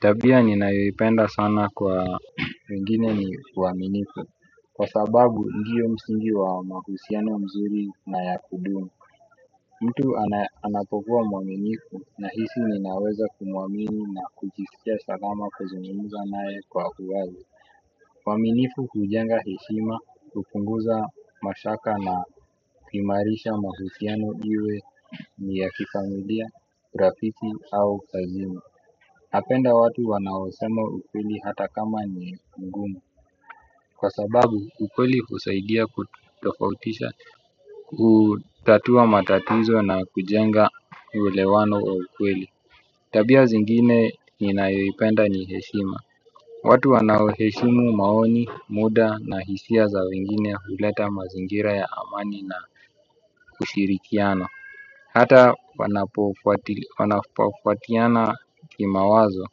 Tabia ninayoipenda sana kwa wengine ni uaminifu. Kwa sababu ndio msingi wa mahusiano mazuri na yakudumu. Mtu anapokua mwaminifu nahisi ninaweza kumuamini na kujisikia salama kuzungumza nae kwa uwazi uaminifu hujenga heshima, kupunguza mashaka na kuimarisha mahusiano iwe ni ya kifamilia, rafiki au kazini. Napenda watu wanao sema ukweli hata kama ni mgumu. Kwa sababu ukweli husaidia kutofautisha. Kutatua matatizo na kujenga uelewano wa ukweli. Tabia zingine ninayoipenda ni heshima. Watu wanao heshimu maoni, muda na hisia za wengine huleta mazingira ya amani na ushirikiano. Hata wanapofatiana kimawazo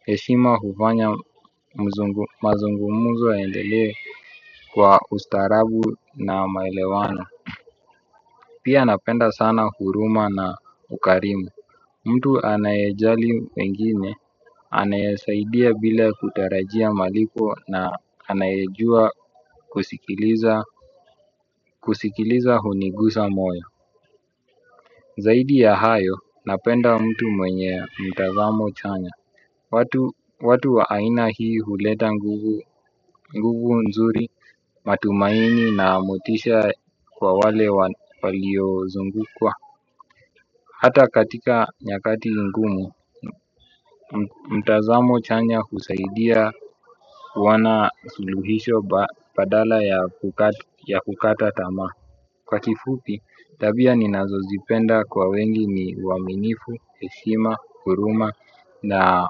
heshima hufanya mazungumzo yaendelee kwa ustarabu na maelewano. Pia napenda sana huluma na ukarimu. Mtu anaejali wengine anaesaidia bila kutarajia malipo na anaejua kusikiliza kusikiliza hunigusa moyo. Zaidi ya hayo napenda mtu mwenye mtazamo chanya watu. Watu wa aina hii huleta nguvu nzuri matumaini na motisha kwa wale walio zungukwa. Hata katika nyakati ngumu, mtazamo chanya husaidia wana suluhisho badala ya kukata ya kukata tamaa. Kwa kifupi, tabia ninazozipenda kwa wengi ni uaminifu, heshima, huruma na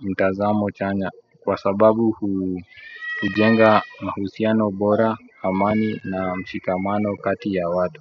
mtazamo chanya. Kwa sababu hujenga mahusiano bora, amani na mshikamano kati ya watu.